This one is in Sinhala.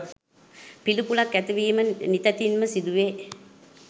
පිළිකුලක් ඇති වීම නිතැතින්ම සිදු වේ